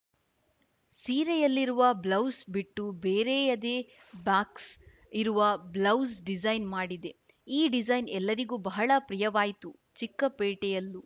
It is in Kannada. ಸೀರೆಯಲ್ಲಿರುವ ಬ್ಲೌಸ್‌ ಬಿಟ್ಟು ಬೇರೆಯದೇ ಬಾಕ್ಸ್‌ ಇರುವ ಬ್ಲೌಸ್‌ ಡಿಸೈನ್‌ ಮಾಡಿದೆ ಈ ಡಿಸೈನ್‌ ಎಲ್ಲರಿಗೂ ಬಹಳ ಪ್ರಿಯವಾಯ್ತು ಚಿಕ್ಕ ಪೇಟೆಯಲ್ಲೂ